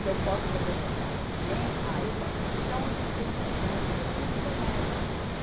Se eu posso fazer o contrato também, ah eu posso tirar um antecedentes criminais pelo internet.